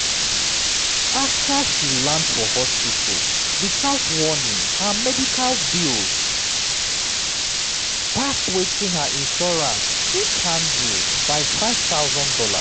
after she land for hospital without warning her medical bills pass wetin her insurance fit handle by five thousand dollars